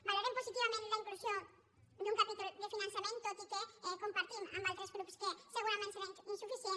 valorem positivament la inclusió d’un capítol de fi·nançament tot i que compartim amb altres grups que segurament serà insuficient